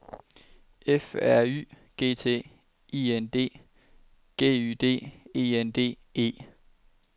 F R Y G T I N D G Y D E N D E